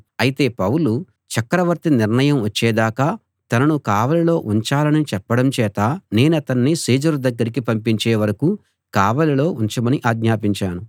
అయితే పౌలు చక్రవర్తి నిర్ణయం వచ్చేదాకా తనను కావలిలో ఉంచాలని చెప్పడం చేత నేనతణ్ణి సీజరు దగ్గరికి పంపించే వరకూ కావలిలో ఉంచమని ఆజ్ఞాపించాను